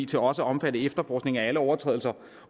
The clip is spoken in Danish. til også at omfatte efterforskning af alle overtrædelser